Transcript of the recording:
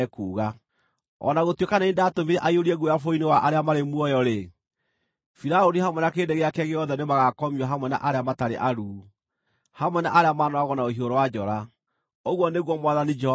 O na gũtuĩka nĩ niĩ ndatũmire aiyũrie guoya bũrũri-inĩ wa arĩa marĩ muoyo-rĩ, Firaũni hamwe na kĩrĩndĩ gĩake gĩothe nĩmagakomio hamwe na arĩa matarĩ aruu, hamwe na arĩa maanooragwo na rũhiũ rwa njora, ũguo nĩguo Mwathani Jehova ekuuga.”